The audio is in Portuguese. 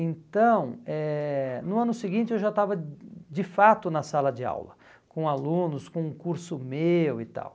Então, eh no ano seguinte eu já estava de fato na sala de aula com alunos, com um curso meu e tal.